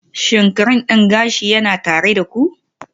Shin cream din gashi yana tare da ku?